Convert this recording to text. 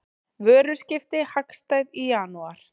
Vöruskipti hagstæð í janúar